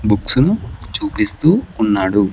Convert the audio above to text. Books ను చూపిస్తూ ఉన్నాడు.